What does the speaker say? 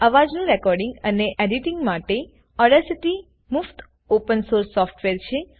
અવાજનું રેકોર્ડિંગ અને એડિટિંગમાટે ઓડાસિટી મુક્ત ઓપન સોર્સ સોફ્ટવેર છે